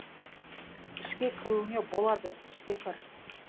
ішке кіруіңе болады ішке кір